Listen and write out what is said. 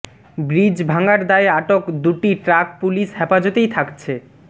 bridge ভাঙ্গার দায়ে আটক দুটি ট্রাক পুলিশ হেফাজতেই থাকছে